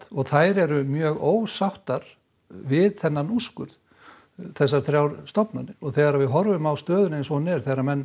og þær eru mjög ósáttar við þennan úrskurð þessar þrjár stofnanir þegar við horfum á stöðuna eins og hún er þegar menn